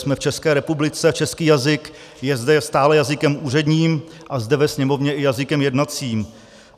Jsme v České republice, český jazyk je zde stále jazykem úředním a zde ve Sněmovně i jazykem jednacím.